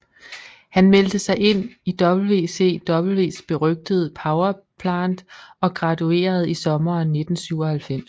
Han meldte sig ind i WCWs berygtede Power Plant og graduerede i sommeren 1997